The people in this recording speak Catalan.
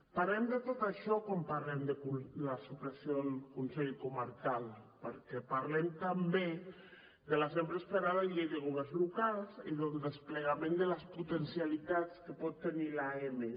parlem de tot això quan parlem de la supressió del consell comarcal perquè parlem també de la sempre esperada llei de governs locals i del desplegament de les potencialitats que pot tenir l’amb